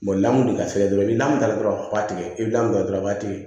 lamu de ka feere dɔrɔn ni namu taara dɔrɔn a b'a tigɛ i bɛ nɔnɔ ta dɔrɔn a b'a to yen